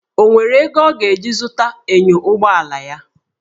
O nwere ego ọ ga-eji zụta enyo ụgbọ ala ya?